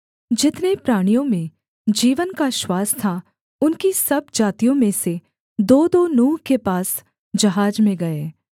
जितने प्राणियों में जीवन का श्वास था उनकी सब जातियों में से दोदो नूह के पास जहाज में गए